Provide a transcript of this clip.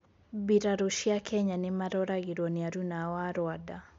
mbirarũ cĩa Kenya nimaroragĩrwo nĩ aruna ao a Rwanda.